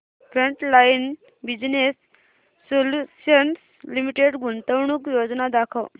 frontline Business Solutions Limited गुंतवणूक योजना दाखव